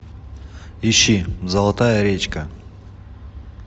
ищи золотая речка